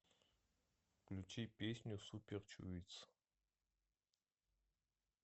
включи песню суперчуитс